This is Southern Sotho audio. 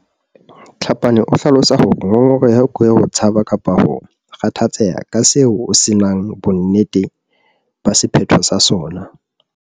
Tlhapane o hlalosa hore ngongoreho ke ho tshaba kapa ho kgathatseha ka seo o se nang bonnete ba sephetho sa sona.